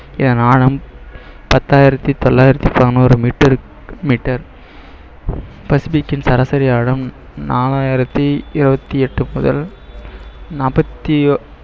பத்தாயிரத்தி தொள்ளாயிரத்தி பதினோரு miter க்கு miter பசிபிக்கின் சராசரி ஆழம் நாலாயிரத்தி இருபத்தி எட்டு முதல் நாற்பத்தி ஒ~